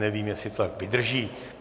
Nevím, jestli to tak vydrží.